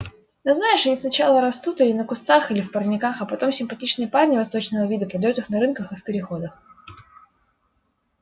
ну знаешь они сначала растут или на кустах или в парниках а потом симпатичные парни восточного вида продают их на рынках и в переходах